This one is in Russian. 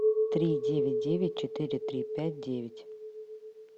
три девять девять четыре три пять девять